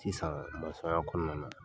Sisan kɔnɔna na.